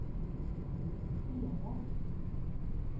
spela